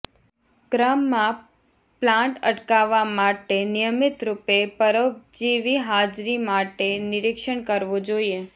ક્રમમાં પ્લાન્ટ અટકાવવા માટે નિયમિત રૂપે પરોપજીવી હાજરી માટે નિરીક્ષણ કરવો જોઇએ